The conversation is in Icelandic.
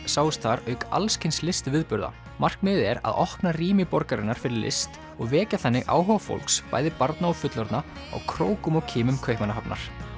sáust þar auk alls kyns listviðburða markmiðið er að opna rými borgarinnar fyrir list og vekja þannig áhuga fólks bæði barna og fullorðna á krókum og kimum Kaupmannahafnar